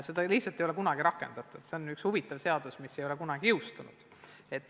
Seda ei ole rakendatud, aga see on üks huvitav seaduseelnõu, mis ei ole kunagi seadusena jõustunud.